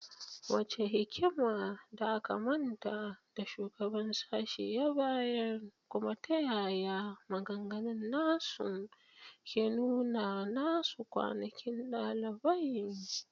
Wace hikimar da aka manta da shugaban sashen ya bayar, kuma ta yaya maganganun nasu ke nuna nasu kwanakin dalibai?